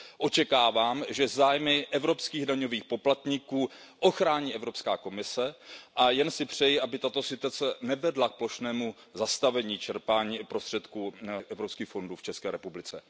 Očekávám, že zájmy evropských daňových poplatníků ochrání Evropská komise, a jen si přeji, aby tato situace nevedla k plošnému zastavení čerpání prostředků evropských fondů v České republice.